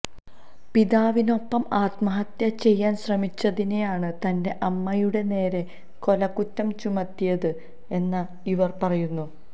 പിതാവിനൊപ്പം ആത്മഹത്യ ചെയ്യാന് ശ്രമിച്ചതിനാണ് തന്റെ അമ്മയുടെ നേരെ കൊലക്കുറ്റം ചുമത്തിയത് എന്ന ഇവര് പറയുന്നു